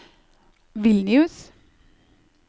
Vilnius